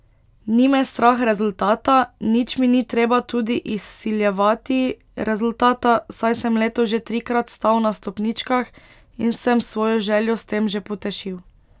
Ni me strah rezultata, nič mi ni treba tudi izsiljevati rezultata, saj sem letos že trikrat stal na stopničkah in sem svojo željo s tem že potešil.